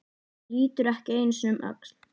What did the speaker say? Lítur ekki einu sinni um öxl.